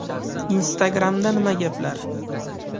Instagram’da nima gaplar?.